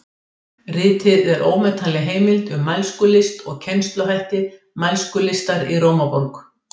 Ritið er ómetanleg heimild um mælskulist og kennsluhætti mælskulistar í Rómaborg.